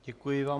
Děkuji vám.